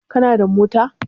Kana da mota?